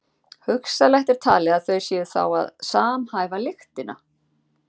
hugsanlegt er talið að þau séu þá að samhæfa lyktina